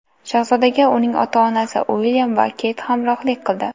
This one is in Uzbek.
Shahzodaga uning ota-onasi Uilyam va Keyt hamrohlik qildi.